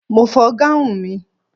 Mo fọ gáun mi.